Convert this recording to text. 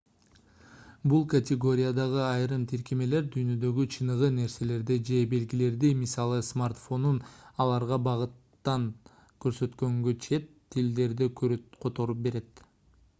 бул категориядагы айрым тиркемелер дүйнөдөгү чыныгы нерселерди же белгилерди мисалы смартфонун аларга багыттап көрсөткөндө чет тилдерди которуп берет